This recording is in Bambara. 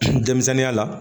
Denmisɛnninya la